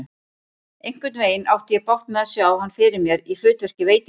Einhvernveginn átti ég bágt með að sjá hann fyrir mér í hlutverki veitingasala.